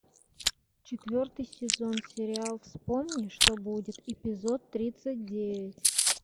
четвертый сезон сериал вспомни что будет эпизод тридцать девять